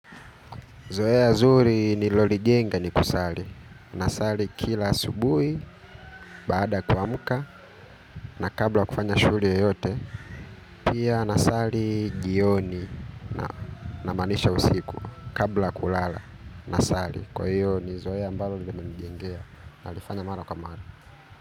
Zoea zuri nililolijenga ni kusali. Nasali kila asubuhi, baada kuamuka na kabla kufanya shughuli yeyote. Pia nasali jioni na maanisha usiku kabla kulala. Nasali kwa hivyo ni zoea ambalo nimeijengea nalifanya mara kwa mara.